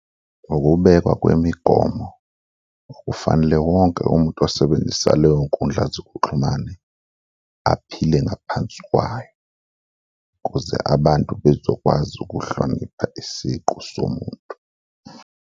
Ukubekwa kwemigomo okufanele wonke umuntu osebenzisa loyo nkundla zokuxhumane aphile ngaphansi kwayo ukuze abantu bezokwazi ukuhlonipha isiqu somuntu.